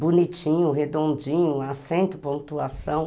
Bonitinho, redondinho, acento, pontuação.